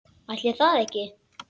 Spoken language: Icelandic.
Ætli það ekki?